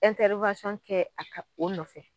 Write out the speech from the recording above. kɛ a ka o nɔfɛ.